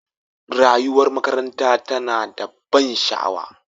Rayuwar makaranta tana da ban sha'awa.